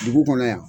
Dugu kɔnɔ yan